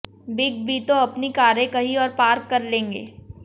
big B तो अपनी कारें कहीं और पार्क कर लेंगे